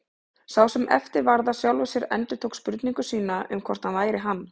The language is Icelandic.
Sá sem eftir varð af sjálfum sér endurtók spurningu sína um hvort hann væri hann.